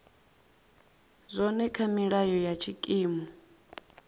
zwone kha milayo ya tshikimu